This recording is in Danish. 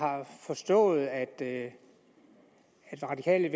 har forstået at det radikale